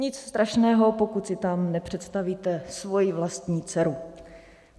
Nic strašného, pokud si tam nepředstavíte svoji vlastní dceru.